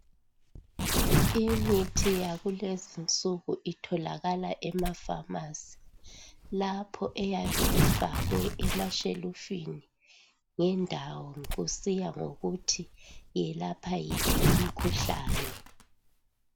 imithi yakulezi insuku itholakala emafamasi lapha eyabe ifakwe emashelufini ngendawo kusiya ngokuthi iyelapha yiphi imikhuhlane